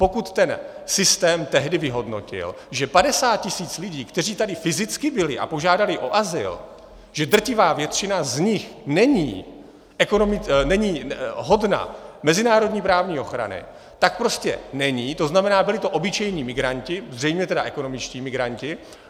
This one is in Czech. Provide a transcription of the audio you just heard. Pokud ten systém tehdy vyhodnotil, že 50 tisíc lidí, kteří tady fyzicky byli a požádali o azyl, že drtivá většina z nich není hodna mezinárodní právní ochrany, tak prostě není, to znamená, byli to obyčejní migranti, zřejmě tedy ekonomičtí migranti.